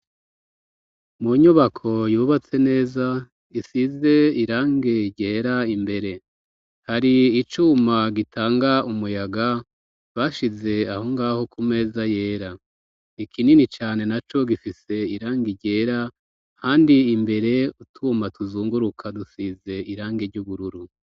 Mu nyubako yubatse neza isize irangi ryera imbere hari icuma gitanga umuyaga bashize aho ngaho ku meza yera ikinini cane na co gifise irangi ryera kandi imbere utuma tuzunguruka dusize irangi ry'ubururu.